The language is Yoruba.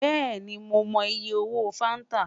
Bẹẹni Mo mọ iye owo fanta